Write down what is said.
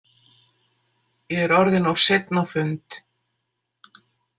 Ég er orðinn of seinn á fund.